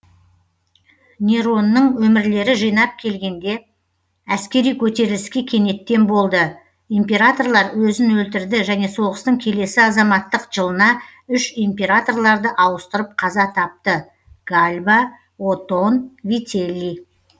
неронның өмірлері жинап келгенде әскери көтеріліске кенеттен болды императорлар өзін өлтірді және соғыстың келесі азаматтық жылына үш императорларды ауыстырып қаза тапты гальба отон вителлий